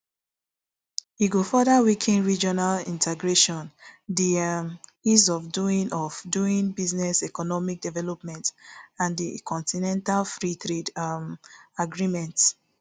e go further weaken regional integration di um ease of doing of doing business economic development and di continental free trade um agreement